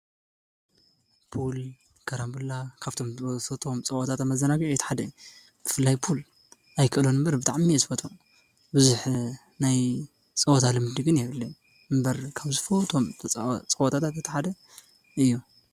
ፑል ከራምበላ ካብቶም ዝበተቶም ጸወታተመዘናጕዑ ሓደ ፍላይ ፑል ኣይከሎን እምበር ብጥዕሚ የፃወት። ብዙኅ ናይ ጸወታ ልምድግን የብለን እምበር ካብ ዝፈ ቶም ጸወታታ ተተሓደ እዮ።